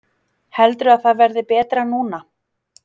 Heldurðu að það verði betra núna?